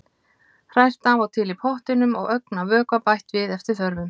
Hrært af og til í pottinum og ögn af vökva bætt við eftir þörfum.